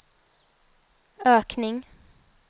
ökning